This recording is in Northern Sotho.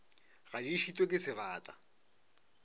ga di šitwe ke sebata